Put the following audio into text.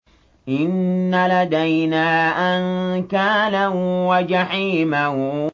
إِنَّ لَدَيْنَا أَنكَالًا وَجَحِيمًا